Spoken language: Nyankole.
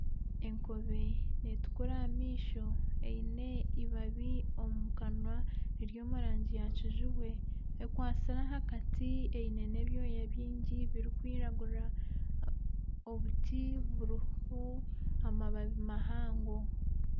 Enkobe netukura ah'amaisho eine eibabi omukanwa riri omu rangi yakijubwe ekwatsire aha kati eine n'ebyoya byingi birikwiragura. Obuti buriho amababi mahango.